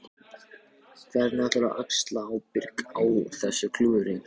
Hvernig ætlarðu að axla ábyrgð á þessu klúðri?